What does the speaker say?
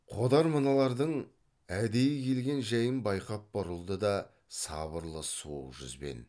қодар мыналардың әдейі келген жәйін байқап бұрылды да сабырлы суық жүзбен